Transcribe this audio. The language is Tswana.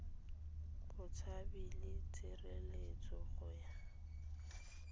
botshabi le tshireletso go ya